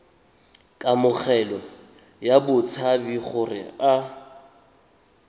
kamogelo ya batshabi gore a